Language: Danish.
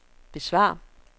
besvar